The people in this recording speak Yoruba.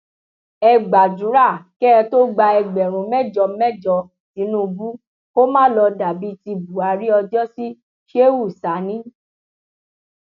ẹ gbàdúrà kẹ ẹ tó gba ẹgbẹrún mẹjọ mẹjọ tìnùbù kó má lọọ dà bíi ti buhari ọjọsí shehu sani